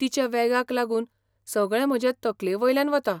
तिच्या वेगाक लागून, सगळें म्हजे तकलेवयल्यान वता.